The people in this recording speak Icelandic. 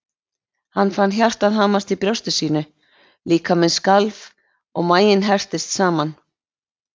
Ég fann hjartað hamast í brjósti mínu, líkaminn skalf og maginn herptist saman.